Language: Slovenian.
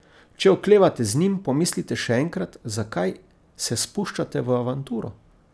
Če oklevate z njim, pomislite še enkrat, zakaj se spuščate v avanturo.